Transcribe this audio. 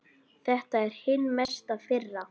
Þetta er hin mesta firra.